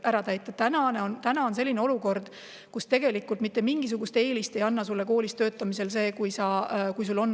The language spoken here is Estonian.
Praegu on olukord selline, et see, kas sul on kvalifikatsiooninõuded täidetud või mitte, mingisugust eelist sulle koolis töötamisel ei anna.